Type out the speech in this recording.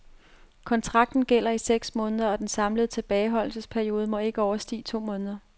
Kontrakten gælder i seks måneder og den samlede tilbageholdelsesperiode må ikke overstige to måneder.